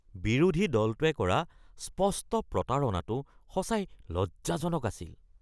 বিৰোধী দলটোৱে কৰা স্পষ্ট প্ৰতাৰণাটো সঁচাই লজ্জাজনক আছিল